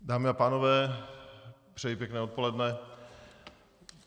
Dámy a pánové, přeji pěkné odpoledne.